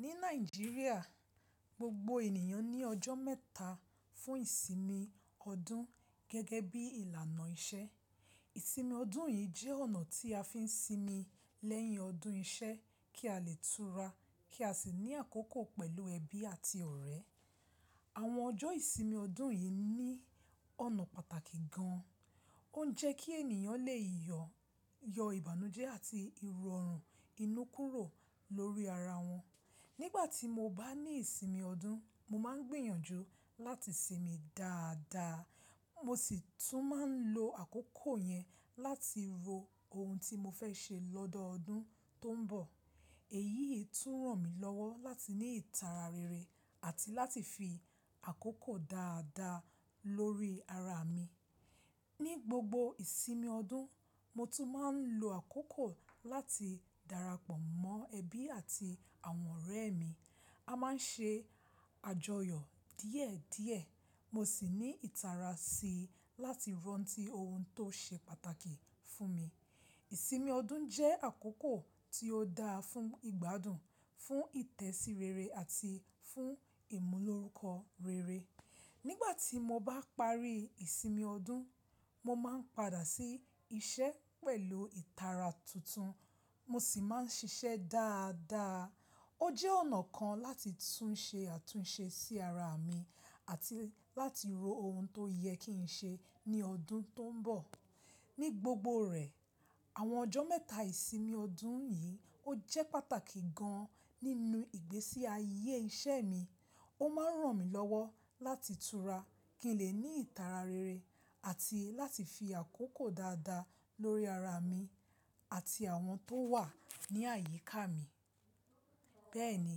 Ní Nàìjíríà, gbogbo ènìyàn ní ọjọ́ mẹ́ta fún ìsinmi ọdún gẹ́gẹ́ bí ìlànà ìṣe. Ìsinmi ọdún yìí jẹ́ ọ̀nà tí a fi ń sinmi lẹ́yìn ọdún iṣẹ́ kí a lè tura kí a sì ní àkókò pẹ̀lú ẹbí àti ọ̀rẹ́. Àwọn ọjọ́ ìsinmi ọdún yìí ní ọ̀nà pàtàkì gan an. Ó n jẹ́ kí ènìyàn lè yọ ìbànújẹ́ àti ìrọ̀rùn inú kúrò lórí ara wọn. Nígbà tí mo bá ní ìsinmi ọdún, mo máa ń gbìyànjú láti sinmi dáadáa. Mo sì tún máa ń lo àkókò yẹn láti ro ohun tí mo fẹ́ ṣe lọ́dọọdún tó ń bọ̀. Èyíi tún ràn mí lọ́wọ́ láti ní ìtara rere àti láti fi àkókò dáadáa lórí ara mi. Ní gbogbo ìsinmi ọdún, mo tún máa ń lo àkókò láti darapọ̀ mọ́ ẹbí àti àwọn ọ̀rẹ́ mi. A máa ń ṣe àjọyọ̀ díẹ̀díẹ̀. Mo sì ní ìtara sí i láti rántí ohun tó ṣe pàtàkì fún mi. Ìsinmi ọdún jẹ́ àkókò tí ó dáa fún ìgbádùn, fún ìtẹ̀sí rere àti fún ìmúlòrúkọ rere. Nígbà tí mo bá parí ìsinmi ọdún, mo máa ń padà sí iṣẹ́ pẹ̀lú ìtara tuntun. Mo sì máa ń ṣiṣẹ́ dáadáa. Ó jẹ́ ọ̀nà kan láti tún ṣe àtúnṣe sí ara mi àti láti ro ohun tó yẹ kí n ṣe ní ọdún tó ń bọ̀. Ní gbogbo rẹ̀, àwọn ọjọ́ mẹ́ta ìsinmi ọdún yìí ó jẹ́ pàtàkì gan an nínú ìgbésí ayé iṣẹ́ mi. Ó máa ń ràn mí lọ́wọ́ láti tura kí n lè ní ìtara rere àti láti fi àkókò dáadáa lórí ara mi àti àwọn tó wà ní àyíká mi. Bẹ́ẹ̀ni,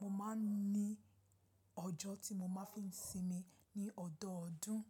mo máa ń ní ọjọ́ tí mo máa ń fi sinmi ní ọdọọdún.